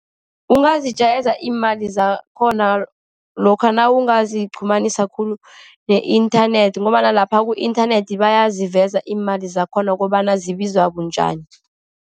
Ungazijayeza imali zakhona, lokha nawungaziqhumanisa khulu ne-inthanethi, ngombana lapha ku-inthanethi bayaziveza imali zakhona ukobana zibizwa bunjani.